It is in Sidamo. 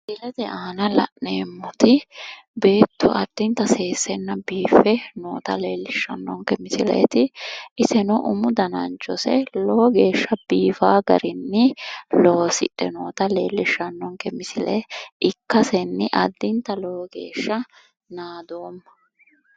Misilete aana la'neemmoti beetto addinta seessenna biiffe noota leellishshannonke misileeti. Iseno umu dananchose lowo geeshsha biifaa garinni loosidhe noota leellishshannonke misile ikkasenni addinta lowo geeshsha naadoomma.